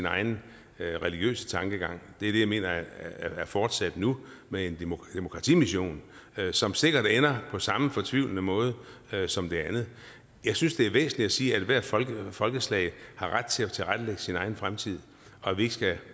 egen religiøse tankegang det er det jeg mener er fortsat nu med en demokratimission som sikkert ender på samme fortvivlende måde som det andet jeg synes det er væsentligt at sige at ethvert folkeslag folkeslag har ret til at tilrettelægge sin egen fremtid og at vi ikke skal